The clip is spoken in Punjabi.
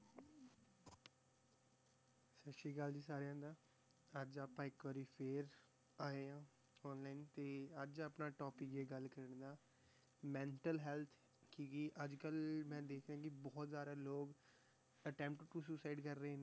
ਸਤਿ ਸ੍ਰੀ ਅਕਾਲ ਜੀ ਸਾਰਿਆਂ ਦਾ ਅੱਜ ਆਪਾਂ ਇੱਕ ਵਾਰੀ ਫਿਰ ਆਏ ਹਾਂ online ਤੇ ਅੱਜ ਆਪਣਾ topic ਹੈ ਗੱਲ ਕਰਨ ਦਾ mental health ਕਿ ਵੀ ਅੱਜ ਕੱਲ੍ਹ ਮੈਂ ਦੇਖ ਰਿਹਾਂ ਕਿ ਬਹੁਤ ਜ਼ਿਆਦਾ ਲੋਕ attempt to suicide ਕਰ ਰਹੇ ਨੇ,